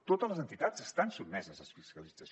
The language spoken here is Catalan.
totes les entitats estan sotmeses a fiscalització